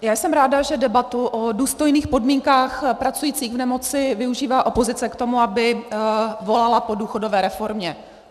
Já jsem ráda, že debatu o důstojných podmínkách pracujících v nemoci využívá opozice k tomu, aby volala po důchodové reformě.